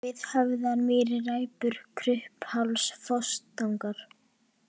Viðhöfðamýri, Ræpur, Kruppháls, Fossatangar